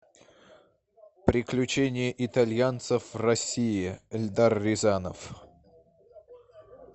приключения итальянцев в россии эльдар рязанов